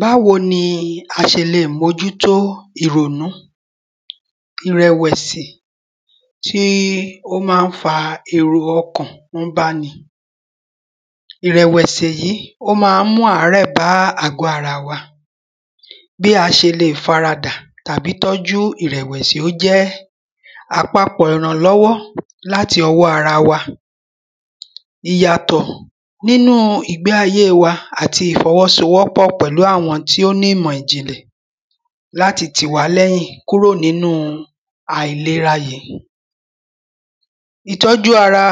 Báwo ni a ṣe le mójútó ìrònú ìrẹ̀wẹ̀sì, tí ó má ń fa èrò ọkàn ń báni. Ìrẹ̀wẹ̀sì yìí ó má ń mú àrẹ́ bá àgọ́ ara wa. Bí a ṣe le fara dà tàbí tọ́jú ìrẹ̀wẹ̀sió jẹ́ àpapọ̀ ìrànlọ́wọ́ láti ọwọ́ ara wa ìyàtọ̀ nínú ìgbé ayé wa àti ìfọwọ́sowọ́pọ̀ pẹ̀lú àwọn tí ó ní ìmọ̀ ìjìnlẹ̀ láti tì wá lẹ́yìn kúrò nínú àìlera yìí. Ìtọ́jú ara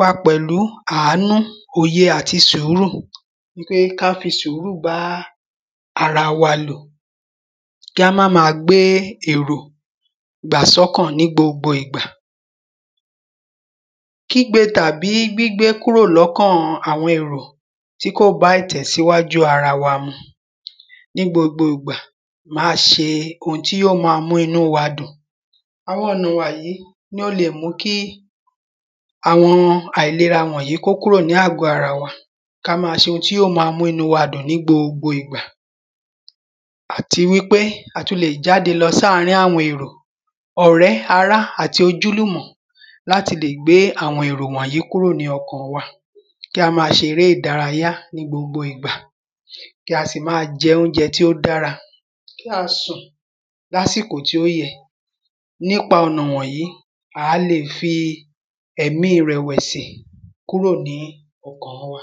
wa pẹ̀lú àánú òye àti sùúrù nipé ká fi sùúrù bá ara wa lò. Kí á má má gbé èrò gbà sọ́kàn ní gbogbo ìgbà. kígbe tàbí gbígbé kúrò lọ́kàn àwọn èrò tí kò bá ìtẹ̀síwájú ara wa mu nígbogbo ìgbà má ṣe ohun tí yóò má mú inú wa dùn. Àwọn ònà wàyí oun ni ó le mú kí àwọn àìlera wọ̀nyìí kí ó kúrò ní àgọ́ ara wa ká má ṣe ohun tí yó ma mú inú wa dùn ní gbogbo ìgbà. àti wípé a tún le jáde lọ sárìn àwọn èrò ọ̀rẹ́ ará àti ojúlùmọ̀ láti le gbé àwọn èrò wọ̀nyìí kúrò ní ọkàn wa kí a má ṣe eré ìdárayá ní gbogbo ìgbà kí a sì má jẹ óúnjẹ tí ó dára, kí a sùn lásìkò tí ó yẹ. Nípa ọ̀nà wọ̀nyìí á le fi ẹ̀mí ìrèwẹ̀sì kúrò ní ọkàn wa.